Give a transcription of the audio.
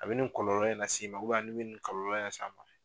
A bɛ ni kɔlɔlɔ in nas'i ma , ni bɛ ni kɔlɔlɔ san a ma.